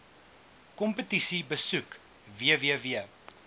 kompetisie besoek www